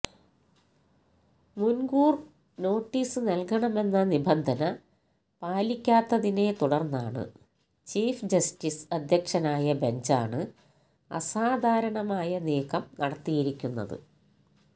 മുന്കൂര് notice നല്കണമെന്ന നിബന്ധന പാലിക്കാത്തതിനെ തുടര്ന്നാണ് ചീഫ് ജസ്റ്റിസ് അധ്യക്ഷനായ ബെഞ്ചാണ് അസാധാരണമായ നീക്കം നടത്തിയിരിക്കുന്നത്